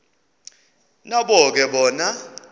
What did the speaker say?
nabo ke bona